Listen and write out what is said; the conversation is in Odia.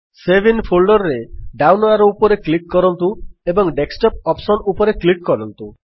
ସେଭ୍ ଆଇଏନ ଫୋଲ୍ଡର ରେ ଡାଉନ୍ ଆରୋ ଉପରେ କ୍ଲିକ୍ କରନ୍ତୁ ଏବଂ ଡେସ୍କଟପ୍ ଅପ୍ସନ୍ ଉପରେ କ୍ଲିକ୍ କରନ୍ତୁ